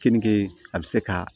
Keninge a bɛ se ka